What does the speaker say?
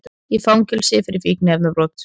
Í fangelsi fyrir fíkniefnabrot